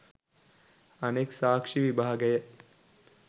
අනෙක් සාක්ෂි විභාගය